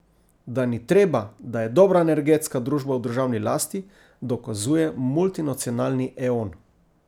Da ni treba, da je dobra energetska družba v državni lasti, dokazuje multinacionalni Eon.